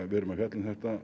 við erum að fjalla um þetta